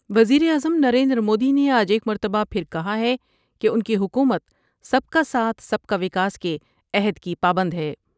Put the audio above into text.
وزیراعظم نریندرمودی نے آج ایک مرتبہ پھر کہا ہے کہ ان کی حکومت سب کا ساتھ سب کا وکاس کے عہد کی پابند ہے ۔